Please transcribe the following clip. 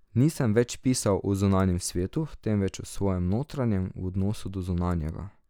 Nisem več pisal o zunanjem svetu, temveč o svojem notranjem, v odnosu do zunanjega.